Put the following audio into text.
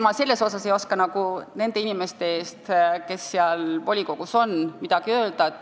Ma ei oska vastata nende inimeste eest, kes Tallinna volikogus on.